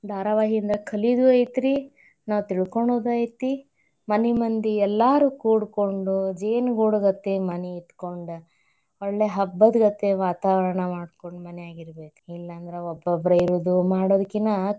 ಧಾರಾವಾಹಿಯಿಂದ ಕಲಿದು ಐತ್ರಿ, ನಾವ್ ತಿಳ್ಕೊಳ್ಳೋದು ಐತಿ, ಮನಿ ಮಂದಿ ಎಲ್ಲಾರೂ ಕೂಡ್ಕೊಂಡು, ಜೇನುಗೂಡ್ಗತೆ ಮನಿ ಇಟ್ಕೊಂಡ್, ಒಳ್ಳೆ ಹಬ್ಬದ್ ಗತೇ ವಾತಾವರಣ ಮಾಡ್ಕೊಂಡ ಮನ್ಯಾಗಿರ್ಬೇಕ್. ಇಲ್ಲಾಂದ್ರ ಒಬ್ಬೊಬ್ರ ಇರೋದು ಮಾಡೋದ್ಕಿನಾ.